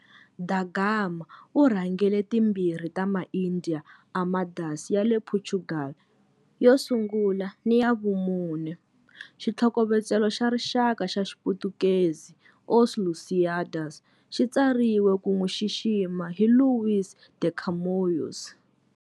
Da Gama u rhangele timbirhi ta ma-India Armadas ya le Portugal, yo sungula ni ya vumune. Xitlhokovetselo xa rixaka xa Xiputukezi, Os Lusíadas, xi tsariwe ku n'wi xixima hi Luís de Camões.